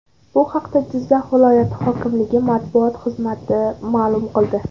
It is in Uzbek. Bu haqda Jizzax viloyati hokimligi matbuot xizmati ma’lum qildi .